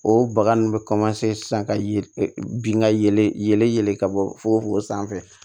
O baga ninnu bɛ sisan ka ye bin ka yɛlɛ yɛlɛ ka bɔ fo o sanfɛ